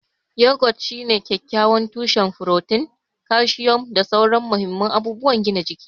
Yogurt shine kyakkyawan tushen furotin, kalcium, da sauran mahimman abubuwan gina jiki.